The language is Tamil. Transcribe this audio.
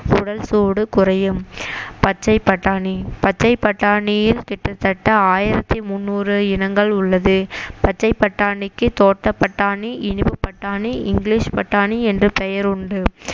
உடல் சூடு குறையும் பச்சை பட்டாணி பச்சை பட்டாணியில் கிட்டத்தட்ட ஆயிரத்தி முந்நூறு இனங்கள் உள்ளது பச்சை பட்டாணிக்கு தோட்டப்பட்டாணி இனிப்பு பட்டாணி இங்கிலிஷ் பட்டாணி என்று பெயர் உண்டு